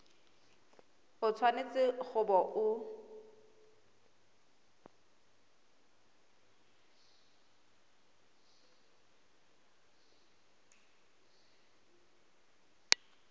o tshwanetse go bo o